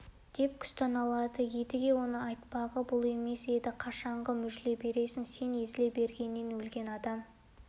деп күстәналады едіге оның айтпағы бұл емес еді қашанғы мүжіле бересің сен езіле бергеннен өлген адам